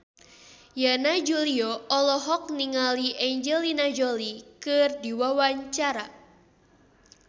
Yana Julio olohok ningali Angelina Jolie keur diwawancara